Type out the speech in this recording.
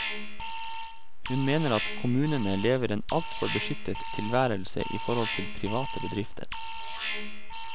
Hun mener at kommunene lever en altfor beskyttet tilværelse i forhold til private bedrifter.